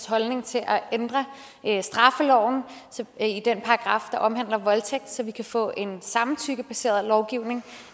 holdning til at ændre straffeloven i den paragraf der omhandler voldtægt så vi kan få en samtykkebaseret lovgivning